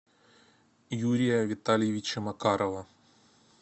юрия витальевича макарова